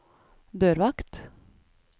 dørvakt